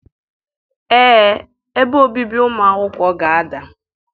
Ee, ebe obibi ụmụ akwụkwọ ga-ada.